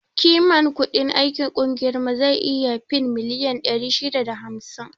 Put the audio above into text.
Kiman kudin aikin ƙungiyar mu zai iya fin miliyan ɗari shida da hamsin